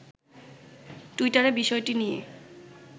টুইটারে বিষয়টি নিয়ে